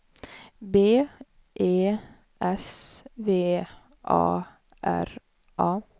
B E S V A R A